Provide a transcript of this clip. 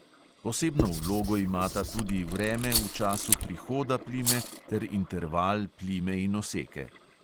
Posebno vlogo imata tudi vreme v času "prihoda" plime ter interval plime in oseke.